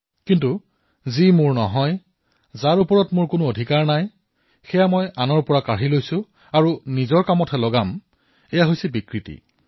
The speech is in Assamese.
কিন্তু যি মোৰ নহয় যত মোৰ অধিকাৰ নাই তাৰ মই আনৰ পৰা কাঢ়ি আনো কাঢ়ি আনি মই ব্যৱহাৰ কৰো তেতিয়া ইয়াক বিকৃতি বুলি কোৱা হব